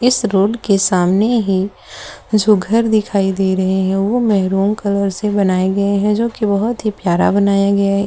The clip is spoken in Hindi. इस रोड के सामने ही जो घर दिखाई दे रहे हैं वह मेहरून न कलर से बनाए गए हैं जो की बहोत ही प्यारा बनाया गया है।